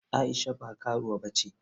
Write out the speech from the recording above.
Aisha ba karuwa bace.